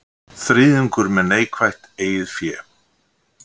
Þriðjungur með neikvætt eigið fé